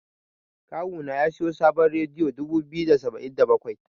Kawu na ya siyo sabon rediyo dubu biyu da saba'in da bakwai.